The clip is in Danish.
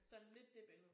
Sådan lidt det billede